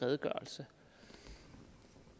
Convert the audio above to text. redegørelse